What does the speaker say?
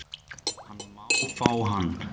Hann má fá hann